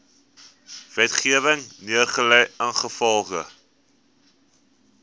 wetgewing neergelê ingevolge